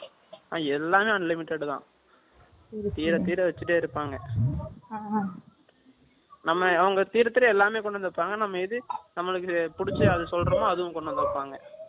எல்லாமே unlimited தான். தீர, தீர வச்சுட்டே இருப்பாங்க. ஆஹான். நம்ம, அவங்க எல்லாமே கொண்டு வந்திருப்பாங்க. நம்ம இது நம்மளுக்கு பிடிச்சுஇருக்கு அது சொல்றோமோ, அதுவும் கொண்டு வந்து வைப்பாங்க